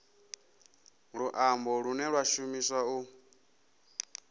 luambo lune lwa shumiswa u